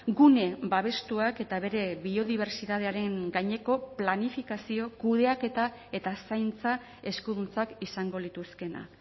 gune babestuak eta bere biodibertsitatearen gaineko planifikazio kudeaketa eta zaintza eskuduntzak izango lituzkeena